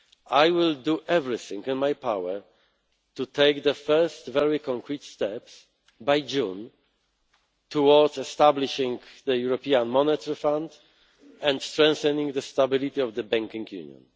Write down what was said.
I will do everything in my power to take the first very concrete steps by June towards establishing the European Monetary Fund and strengthening the stability of the Banking Union.